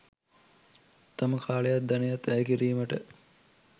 තම කාලයත් ධනයත් වැය කිරීමට